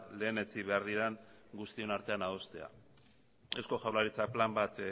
lehenetsi behar diren guztion artean adostea eusko jaurlaritzak plan bat